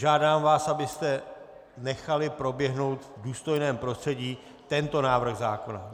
Žádám vás, abyste nechali proběhnout v důstojném prostředí tento návrh zákona.